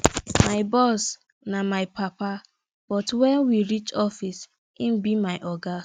my boss na my papa but wen we reach office im be my oga